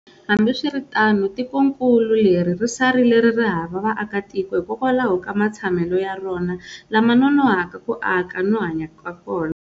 Hambiswiritano tikonkulu leri ri sarile ririhava vaaka tiko hikwalaho ka matshemelo ya rona lama nonohaka ku aka no hanya kona.